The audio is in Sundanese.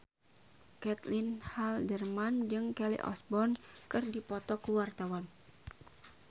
Caitlin Halderman jeung Kelly Osbourne keur dipoto ku wartawan